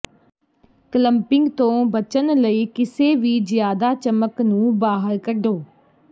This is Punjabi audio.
ਕਲੰਪਿੰਗ ਤੋਂ ਬਚਣ ਲਈ ਕਿਸੇ ਵੀ ਜਿਆਦਾ ਚਮਕ ਨੂੰ ਬਾਹਰ ਕੱਢੋ